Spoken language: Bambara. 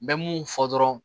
N bɛ mun fɔ dɔrɔn